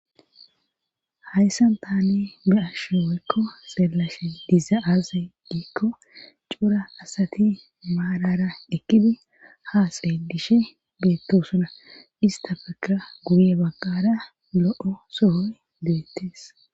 Hayssan tani be ashe woykko seelashe diza aaze diikko cuura asati maarara ekkidi ha seedishe beetto suna istafeka guye bagqara lo7o sohoy deettees